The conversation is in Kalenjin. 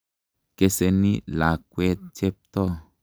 Keseni lakwet Cheptoo.